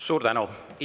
Suur tänu!